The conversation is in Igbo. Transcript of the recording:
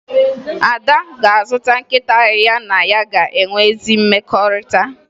Ada ga-azụta nkịta ya na ya ga-enwe ezi mmekọrịta